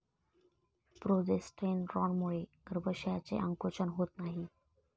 प्रोजेस्टेरॉनमुळे गर्भाशयाचे आकुंचन होत नाही.